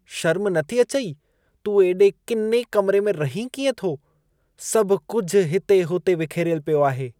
शर्म नथी अचई! तूं एॾे किने कमिरे में रहीं कीअं थो? सभ कुझि हिते-हुते विखेरियल पियो आहे। (माउ)